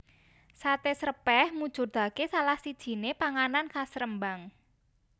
Sate Srèpèh mujudake salah sijiné panganan khas Rembang